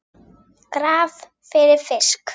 Graf fyrir fisk.